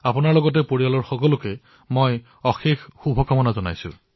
আপোনাক আৰু আপোনাৰ পৰিয়াললৈ মোৰ তৰফৰ পৰা অশেষ শুভকামনা থাকিল